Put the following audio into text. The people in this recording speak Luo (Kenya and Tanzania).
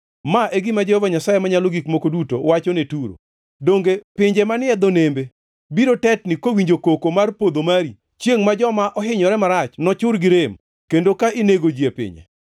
“Ma e gima Jehova Nyasaye Manyalo Gik Moko Duto wacho ne Turo: Donge pinje manie dho nembe biro tetni kowinjo koko mar podho mari, chiengʼ ma joma ohinyore marach nochur gi rem kendo ka inego ji e pinye?